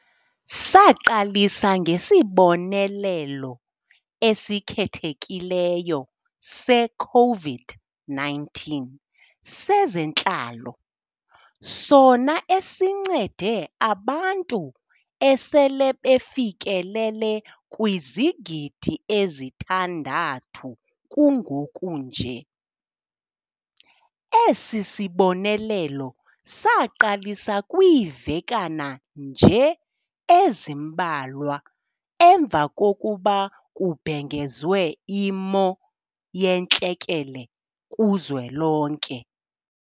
Saqalisa ngeSibonelelo esiKhethekileyo se-COVID-19 sezeNtlalo, sona esincede abantu asele befikelele kwizigidi ezithandathu kungokunje. Esi sibonelelo saqalisa kwiivekana nje ezimbalwa emva kokuba kubhengezwe iMo yeNtlekele kuZwelonke.